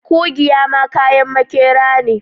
Kugiya ma kayan makera ne